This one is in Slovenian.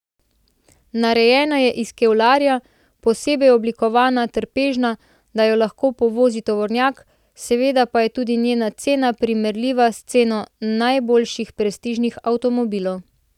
Narejena je iz kevlarja, posebej oblikovana, trpežna, da jo lahko povozi tovornjak, seveda pa je tudi njena cena primerljiva s ceno najboljših prestižnih avtomobilov.